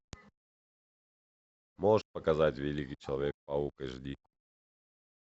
можешь показать великий человек паук аш ди